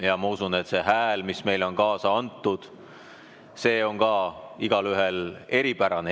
Ja ma usun, et see hääl, mis meile on kaasa antud, on ka igalühel eripärane.